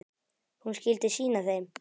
Hún skyldi sýna þeim.